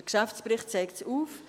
Der Geschäftsbericht zeigt es auf: